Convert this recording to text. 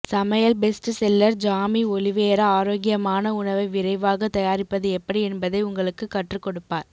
சமையல் bestseller Jamie Oliver ஆரோக்கியமான உணவை விரைவாக தயாரிப்பது எப்படி என்பதை உங்களுக்குக் கற்றுக்கொடுப்பார்